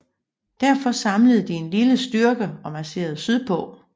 Derfor samlede de en lille styrke og marcherede sydpå